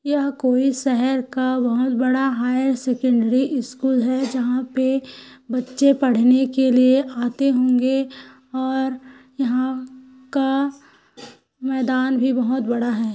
यह कोई शहर का बहुत बड़ा हायर सेकेण्डरी स्कूल है जहाँ पे बच्चे पढ़ने के लिए आते होंगे और यहाँ का मैदान भी बहुत बड़ा है।